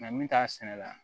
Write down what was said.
Nka min t'a sɛnɛ la